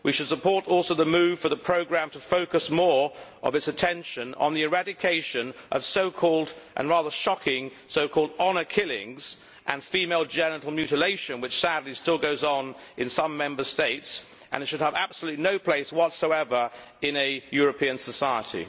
We should also support the move for the programme to focus more of its attention on the eradication of so called and rather shocking honour killings and female genital mutilation, which sadly still goes on in some Member States and should have absolutely no place whatsoever in a European society.